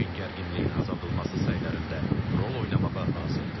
Çin gərginliyin azaldılması sayılarında rol oynamağa hazırdır.